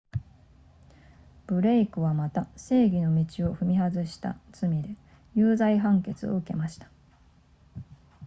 ブレイクはまた正義の道を踏み外した罪で有罪判決を受けました